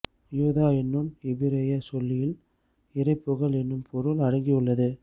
யூதா என்னுன் எபிரேயச் சொல்லில் இறை புகழ் என்னும் பொருள் அடங்கியுள்ளது